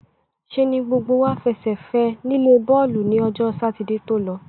ṣe ni gbogbo wá fẹsẹ̀ fẹ́ ẹ nílé bọ́ọ̀lù ni ọjọ́ Sátidé tó lọ.